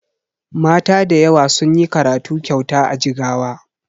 Mata dayawa sunyi karatu kyauta a jigawa